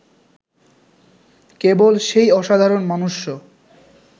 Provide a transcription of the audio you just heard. কেবল, সেই অসাধারণ মনুষ্য